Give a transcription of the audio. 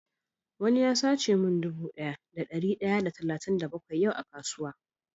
Wani ya sata min dude Daya da dari daya da talatin da bakwai yau a kasuwan.